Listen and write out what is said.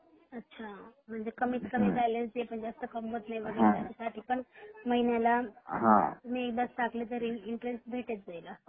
अच्छा म्हणजे कमीत कमी बँलन्स जे कमवत नही त्यांच्या साठी पण महिन्याला तुम्ही एकदाच टाकले तरी इंटरेस्ट भेटत जाईल अस